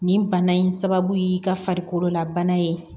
Nin bana in sababu ye ka farikololabana ye